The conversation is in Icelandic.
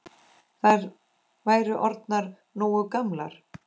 Þær væru orðnar nógu gamlar.